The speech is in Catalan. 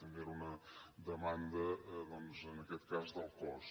també era una demanda doncs en aquest cas del cos